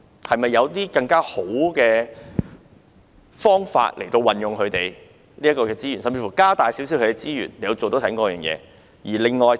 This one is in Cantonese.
是否有更好的方法運用醫療輔助隊的資源，甚至增加其資源來做這方面的工作？